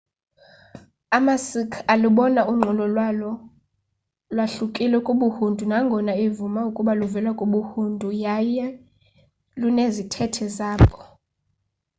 amasikh alubona unqulo lwawo lwahlukile kubuhindu nangona eyivuma ukuba luvela kubuhindu yaye lunezithethe zabo